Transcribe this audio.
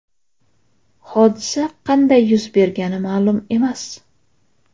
Hodisa qanday yuz bergani ma’lum emas.